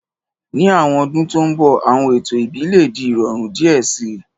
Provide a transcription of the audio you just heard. Ni awọn ọdun to nbọ, awọn eto ẹbi le di irọrun diẹ sii